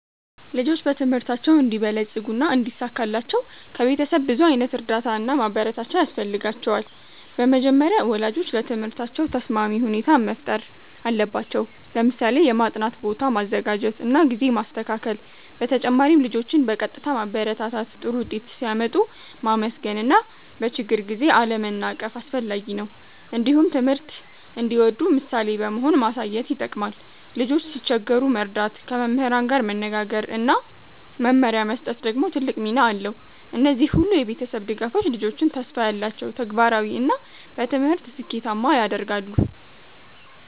ልጆች በትምህርታቸው እንዲበለጽጉና እንዲሳካላቸው ከቤተሰብ ብዙ ዓይነት እርዳታ እና ማበረታቻ ያስፈልጋቸዋል። በመጀመሪያ ወላጆች ለትምህርታቸው ተስማሚ ሁኔታ መፍጠር አለባቸው፣ ለምሳሌ የማጥናት ቦታ ማዘጋጀት እና ጊዜ ማስተካከል። በተጨማሪም ልጆችን በቀጥታ ማበረታታት፣ ጥሩ ውጤት ሲያመጡ ማመስገን እና በችግር ጊዜ አለመናቀፍ አስፈላጊ ነው። እንዲሁም ትምህርት እንዲወዱ ምሳሌ በመሆን ማሳየት ይጠቅማል። ልጆች ሲቸገሩ መርዳት፣ ከመምህራን ጋር መነጋገር እና መመሪያ መስጠት ደግሞ ትልቅ ሚና አለው። እነዚህ ሁሉ የቤተሰብ ድጋፎች ልጆችን ተስፋ ያላቸው፣ ተግባራዊ እና በትምህርት ስኬታማ ያደርጋሉ።